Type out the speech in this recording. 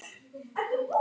Það er allt.